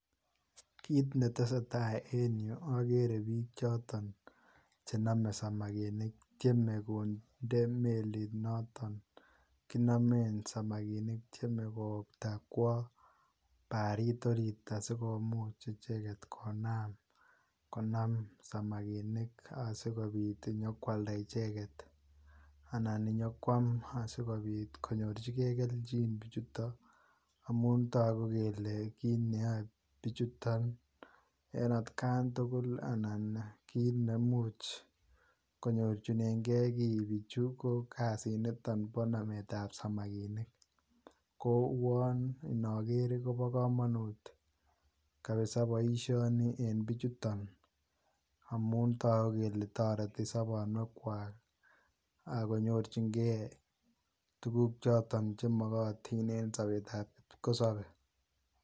Kiit netesetaa en yuu okere biik choton chenome samakinik tieme konde meliit noton kinomen samakinik, tieme kowokta kwoo bariit oriit asikomuch icheket konam konam samakinik asikobit inyokwalda icheket anan inyokwam asikobit konyorchike kelchin bichuto amun toku kelee kiit neyoe bichuton en atkan tukul anan kiit nemuch konyorchineng'e kii bichu, ko niton ko kasitab nametab samakinik, kouwon inoker kobo komonut kabisaa boishoni en bichuton amun toku kelee toreti sobonuekwak ak konyorching'e tukuk choton chemokotin en sobetab kipkosobe.